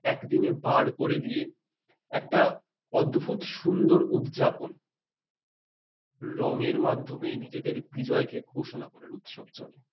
একদিনে বার করে দিয়ে একটা অদ্ভুত সুন্দর উদযাপন। রঙের মাধ্যমে নিজেদের বিজয়কে ঘোষণা করার উদযাপন